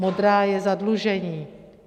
Modrá je zadlužení.